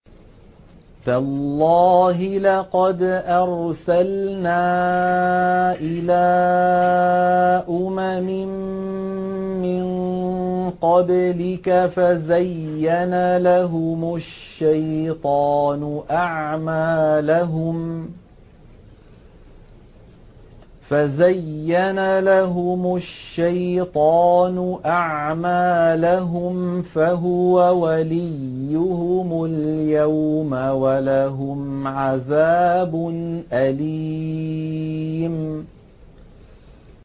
تَاللَّهِ لَقَدْ أَرْسَلْنَا إِلَىٰ أُمَمٍ مِّن قَبْلِكَ فَزَيَّنَ لَهُمُ الشَّيْطَانُ أَعْمَالَهُمْ فَهُوَ وَلِيُّهُمُ الْيَوْمَ وَلَهُمْ عَذَابٌ أَلِيمٌ